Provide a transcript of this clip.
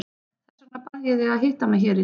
Þess vegna bað ég þig að hitta mig hér í dag.